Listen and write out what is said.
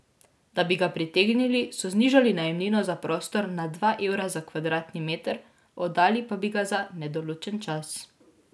Da bi ga pritegnili, so znižali najemnino za prostor na dva evra za kvadratni meter, oddali pa bi ga za nedoločen čas.